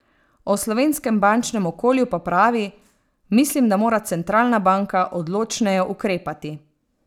O slovenskem bančnem okolju pa pravi: "Mislim, da mora centralna banka odločneje ukrepati.